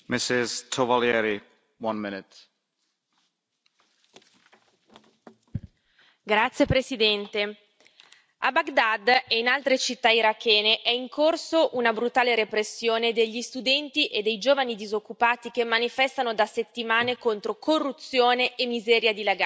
Signor Presidente, onorevoli colleghi, a Baghdad e in altre città irachene è in corso una brutale repressione degli studenti e dei giovani disoccupati che manifestano da settimane contro corruzione e miseria dilagante. I giovani sono il 60 della popolazione